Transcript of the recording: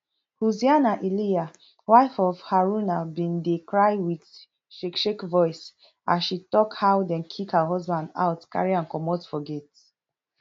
hussaina iliya wife of haruna bin dey cry wit shake shake voice as she tok how dem kick her husband out carry am comot for gate